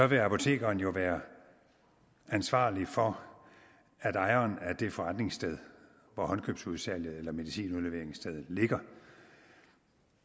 vil apotekeren jo være ansvarlig for at ejeren af det forretningssted hvor håndkøbsudsalget eller medicinudleveringsstedet ligger